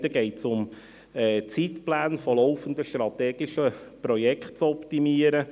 Beim einen Punkt geht es darum, Zeitpläne laufender strategischer Projekte zu optimieren.